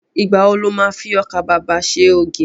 Ìgbà wo lo má fi ọkà babà ṣe ògì?